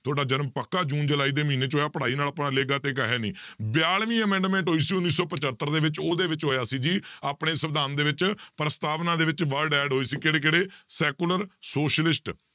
ਤੁਹਾਡਾ ਜਨਮ ਪੱਕਾ ਜੂਨ ਜੁਲਾਈ ਦੇ ਮਹੀਨੇ 'ਚ ਹੋਇਆ, ਪੜ੍ਹਾਈ ਨਾਲ ਆਪਣਾ ਲੇਖਾ ਦੇਗਾ ਹੈ ਨੀ ਬਿਆਲਵੀਂ amendment ਹੋਈ ਸੀ ਉੱਨੀ ਸੌ ਪਜੱਤਰ ਦੇ ਵਿੱਚ ਉਹਦੇ ਵਿੱਚ ਹੋਇਆ ਸੀ ਜੀ ਆਪਣੇ ਸਵਿਧਾਨ ਦੇ ਵਿੱਚ ਪ੍ਰਸਤਾਵਨਾ ਦੇ ਵਿੱਚ word add ਹੋਏ ਸੀ ਕਿਹੜੇ ਕਿਹੜੇ secular socialist